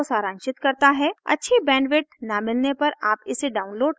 अच्छी bandwidth न मिलने पर आप इसे download करके देख सकते हैं